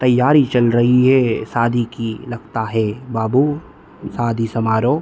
तैयारी चल रही है शादी की लगता है बाबू शादी समारोह --